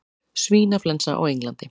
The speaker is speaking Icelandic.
Svínaflensa á Englandi